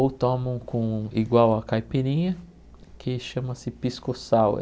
Ou tomam com igual a caipirinha, que chama-se Pisco Sour.